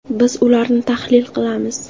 Biz ularni tahlil qilamiz.